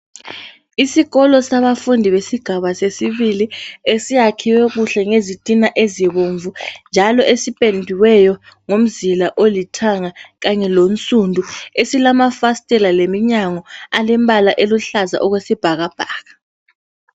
Isikolo sabafundi besigaba sesibili, esiyakhiwe kuhle ngezitina ezibomvu njalo esipendiweyo ngomzila olithanga kanye lonsundu, esilamafastela leminyango alembala eluhlaza okwesibhakabhaka.